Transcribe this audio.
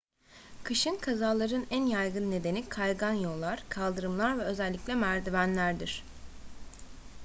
kışın kazaların en yaygın nedeni kaygan yollar kaldırımlar ve özellikle merdivenlerdir